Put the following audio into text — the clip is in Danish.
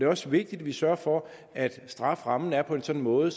også vigtigt at vi sørger for at strafferammen er på en sådan måde